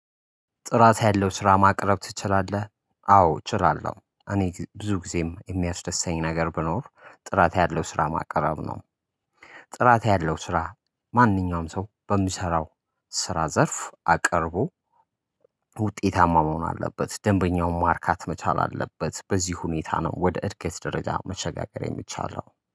ጥራት ያለው ስራ ማቅረብ ትችላለህ? አዎ እችላለሁ እኔ ብዙ ጊዜም የሚያስደስተኝ ነገር ቢኖር ጥራት ያለው ስራ ማቅረብ ነው። ጥራት ያለው ስራ ማንኛውም ሰው በሚሰራው ስራ ዘርፍ አቅርቦ። ውጤታማ መሆን አለበት ደንበኛውን ማርካት መቻል አለበት በዚህ ሁኔታ ነው ወደ እድገት ደረጃ መሸጋገር የሚቻለው